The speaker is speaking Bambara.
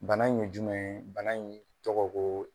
Bana in ye jumɛn ye? Bana in tɔgɔ ko